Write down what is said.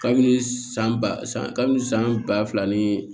Kabini san ba san kabini san ba fila ni